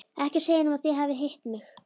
Ekki segja honum að þið hafið hitt mig.